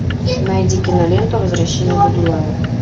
найди киноленту возвращение будулая